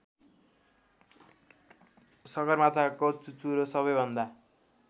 सगरमाथाको चुचुरो सबैभन्दा